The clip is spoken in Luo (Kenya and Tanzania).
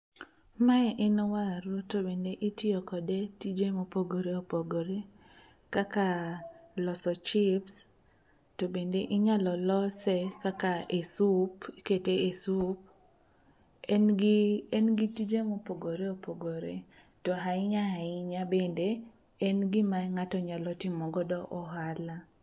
Mae en waru to bende itiyo kode tije mopogore opogore kaka loso chips to bende inyalo lose kaka e sup, ikete e sup en gi tije mopogore opogore to ahinya ahinya bende en gima ng'ato nyalo timogodo ohala.